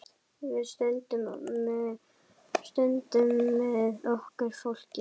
Við stöndum með okkar fólki.